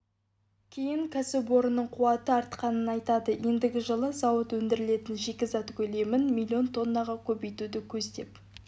кейін кәсіпорынның қуаты артқанын айтады ендігі жылы зауыт өңделетін шикізат көлемін миллион тоннаға көбейтуді көздеп